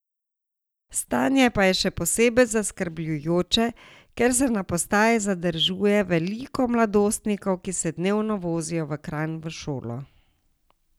Stanje pa je še posebej zaskrbljujoče, ker se na postaji zadržuje veliko mladostnikov, ki se dnevno vozijo v Kranj v šolo.